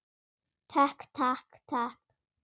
Takk, takk, takk.